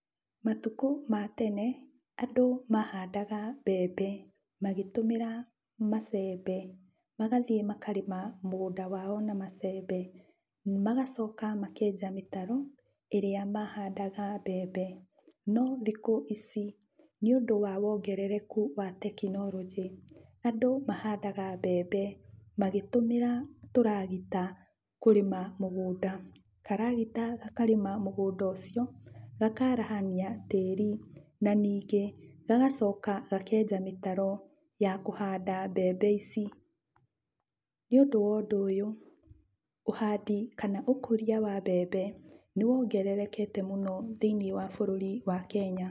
Matukũ ma tene andũ mahandaga mbembe magĩtũmĩra macembe. Magathiĩ makarĩma mũgũnda wao na macembe. Magacoka makenja mĩtaro ĩrĩa mahandaga mbembe, no thikũ ici, nĩũndũ wa wongerereku wa tekinoronjĩ, andũ mahandaga mbembe magĩtũmĩra tũragita kĩrĩma mũgũnda. Karagita gakarĩma mũgũnda ũcio, gakarahania tĩri, na ningĩ, gagacoka gakenja mĩtaro ya kũhanda mbembe ici. Nĩũndũ wa ũndũ ũyũ, ũhandi kana ũkũria wa mbembe nĩwongererekete mũno thĩiniĩ wa bũrũri wa Kenya.